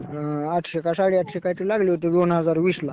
आठशे का साडे आठशे काहीतरी लागले होते दोन हजार विसला.